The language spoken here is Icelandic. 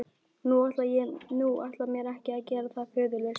Og ég ætla mér ekki að gera það föðurlaust.